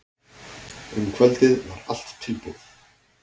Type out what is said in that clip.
Um kvöldið var allt tilbúið.